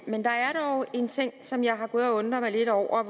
men der er dog en ting som jeg har gået og undret mig lidt over